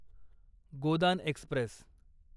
Godan Express